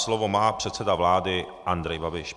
Slovo má předseda vlády Andrej Babiš.